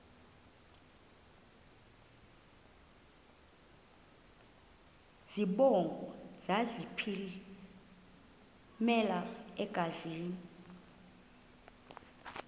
zibongo zazlphllmela engazi